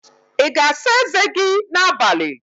Ị ga-asa eze gị n'abalị?